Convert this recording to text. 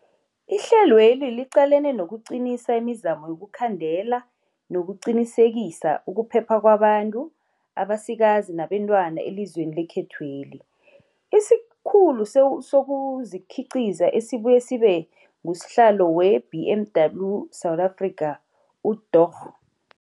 Ihlelweli liqalene nokuqinisa imizamo yokukhandela, nokuqinisekisa ukuphepha kwabantu abasikazi nabentwana elizweni lekhethweli. IsiKhulu sezokuKhiqiza esibuye sibe ngusihlalo we-BMW South Africa, uDorh.